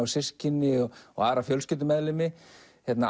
systkini og og aðra fjölskyldumeðlimi